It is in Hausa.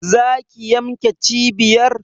Za ki yanmnke cibiyar!